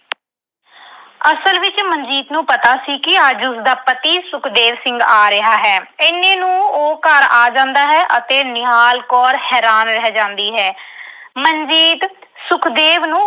ਅਸਲ ਵਿੱਚ ਮਨਜੀਤ ਨੂੰ ਪਤਾ ਸੀ ਕਿ ਅੱਜ ਉਸਦਾ ਪਤੀ ਸੁਖਦੇਵ ਸਿੰਘ ਆ ਰਿਹਾ ਹੈ। ਇੰਨੇ ਨੂੰ ਉਹ ਘਰ ਆ ਜਾਂਦਾ ਹੈ ਅਤੇ ਨਿਹਾਲ ਕੌਰ ਹੈਰਾਨ ਰਹਿ ਜਾਂਦੀ ਹੈ। ਮਨਜੀਤ ਸੁਖਦੇਵ ਨੂੰ